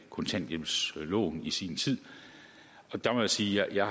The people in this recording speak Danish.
kontanthjælpsloven i sin tid og der må jeg sige at jeg